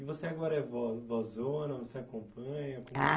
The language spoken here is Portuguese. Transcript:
E você agora é vovózona, você acompanha? Ah